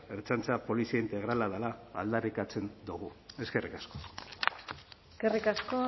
ertzaintza polizia integrala dela aldarrikatzen dugu eskerrik asko eskerrik asko